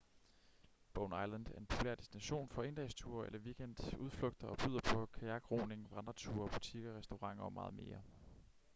bowen island er en populær destination for endagsture eller weekendudflugter og byder på kajakroning vandreture butikker restauranter og meget mere